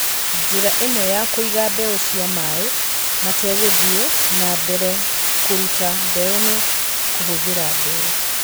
Njĩra ĩmwe ya kũiga mbeũ cia maĩ mategũthiĩ na mbere kũruta mbeũ nĩ kũhũthĩra mbeũ.